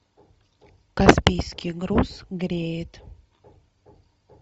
каспийский груз греет